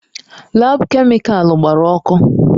Laabu kemịkalụ gbara ọkụ.